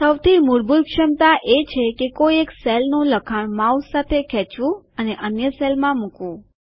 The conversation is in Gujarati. સૌથી મૂળભૂત ક્ષમતા એ છે કે કોઈ એક કોષનું લખાણ માઉસ સાથે ખેંચો અને અન્ય કોષમાં મુકવું